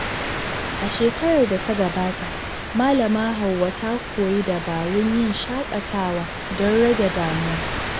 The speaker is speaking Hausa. A shekarar da ta gabata, Malama Hauwa ta koyi dabarun yin shakatawa don rage damuwa.